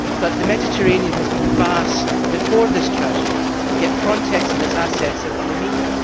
But the Mediterranean has been vast before this tragedy, yet Frontex and its assets have been meagre.